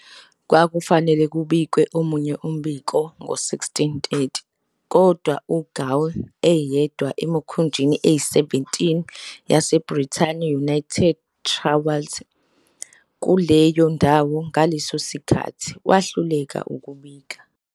Kwakufanele kubikwe omunye umbiko ngo-16- 30 kodwa "uGaul", eyedwa emikhunjini eyi-17 yaseBrithani United Trawlers kuleyo ndawo ngaleso sikhathi, wehluleka ukubika.